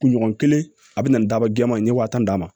Kunɲɔgɔn kelen a bɛ na ni daba jɛman ye wa tan d'a ma